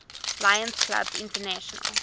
lions clubs international